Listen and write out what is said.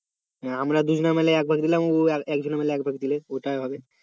আমরা দুজনে মিলে একবার দিলাম ও একজনে মিলে একবার দিল ওটাই হবে